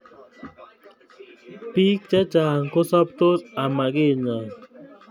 Bik chechang kosaptos amakinya